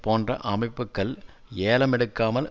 போன்ற அமைப்புக்கள் ஏலம் எடுக்காமல்